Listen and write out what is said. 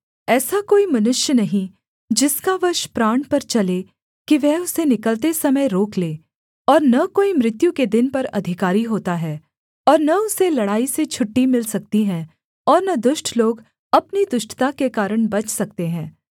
ऐसा कोई मनुष्य नहीं जिसका वश प्राण पर चले कि वह उसे निकलते समय रोक ले और न कोई मृत्यु के दिन पर अधिकारी होता है और न उसे लड़ाई से छुट्टी मिल सकती है और न दुष्ट लोग अपनी दुष्टता के कारण बच सकते हैं